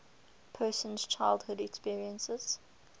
person's childhood experiences